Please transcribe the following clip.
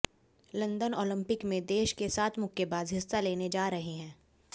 London Olympic में देश के सात मुक्केबाज हिस्सा लेने जा रहे हैं